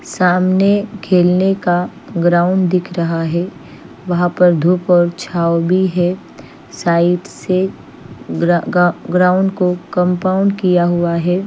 सामने खेलने का ग्राउंड दिख रहा है वहा पर धुप और छाव भी है साइड से ग्रा-गा-ग्राउंड को कम्पाऊन किया हुआ है।